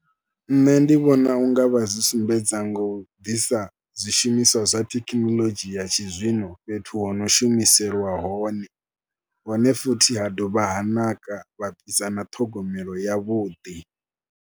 Nṋe ndi vhona u nga vha zwi sumbedza ngo u ḓisa zwishumiswa zwa thekinoḽodzhi ya tshizwino fhethu ho no shumiselwa hone, hone futhi ha dovha ha naka vha ḓisa na ṱhogomelo yavhuḓi.